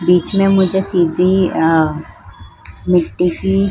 बीच में मुझे सीधी आआ मिट्टी की --